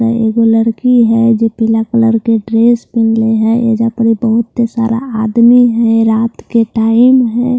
यहां एगो लड़की है जो पीला कलर के ड्रेस पेहनी है एजा पर बहोत सारा आदमी है रात के टाइम है।